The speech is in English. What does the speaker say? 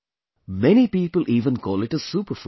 Many people even call it a Superfood